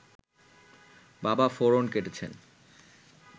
বাবা ফোঁড়ন কেটেছিলেন